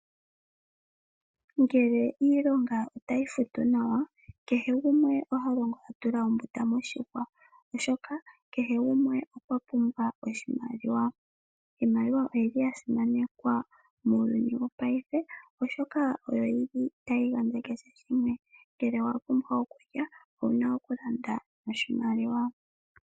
Ngele iilonga otayi futu nawa kehe gumwe ohalongo atula ombunda moshihwa, oshoka kehe gumwe okwapumbwa oshimaliwa. Iimaliwa oyili yasimanekwa muuyuni wongashingeyi oshoka oyo yili tayi gandja kehe shimwe, ngele owapumbwa okulya owuna okulanda noshimaliwa.